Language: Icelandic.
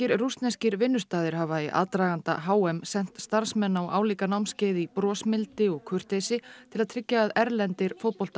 rússneskir vinnustaðir hafa í aðdraganda h m sent starfsmenn á álíka námskeið í brosmildi og kurteisi til að tryggja að erlendir